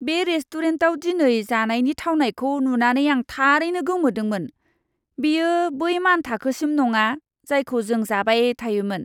बे रेस्टुरेन्टाव दिनै जानायनि थावनायखौ नुनानै आं थारैनो गोमोदोंमोन। बेयो बै मानथाखोसिम नङा, जायखौ जों जाबाय थायोमोन!